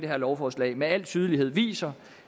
her lovforslag med al tydelighed viser